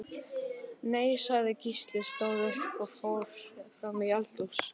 Nei, sagði Gísli, stóð upp og fór fram í eldhús.